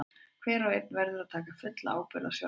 Hver og einn verður að taka fulla ábyrgð á sjálfum sér.